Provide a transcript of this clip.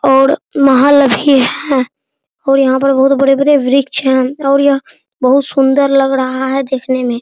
और महल भी है और यहाँ पर बहुत बड़े बड़े वृक्ष हैं और यह बहुत सुन्दर लग रहा है देखने में |